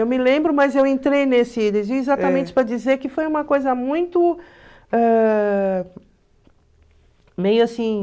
Eu me lembro, mas eu entrei nesse... Exatamente para dizer que foi uma coisa muito... Ãh... assim...